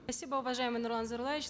спасибо уважаемый нурлан зайроллаевич